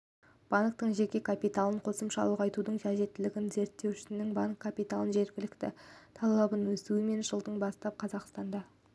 банктің жеке капиталын қосымша ұлғайтудың қажеттілігі реттеушінің банк капиталының жеткіліктілігі талабының өсуімен және жылдан бастап қазақстанда